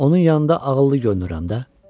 Onun yanında ağıllı görünürəm də.